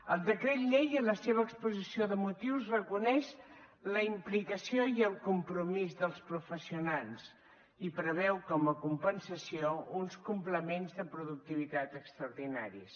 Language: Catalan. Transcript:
el decret llei en la seva exposició de motius reconeix la implicació i el compromís dels professionals i preveu com a compensació uns complements de productivitat extraordinaris